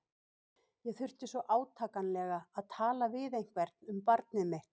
Ég þurfti svo átakanlega að tala við einhvern um barnið mitt.